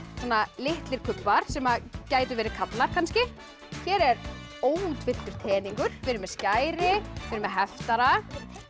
litlir kubbar sem gætu verið karlar hér er óútfylltur teningur við erum með skæri heftara